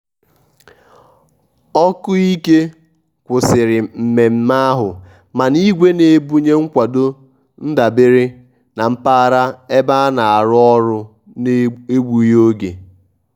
oku ike kwụsịrị mmemme ahụ mana igwe na-ebunye nkwado ndabere na mpaghara ebe a na-arụ ọrụ n'egbughị oge.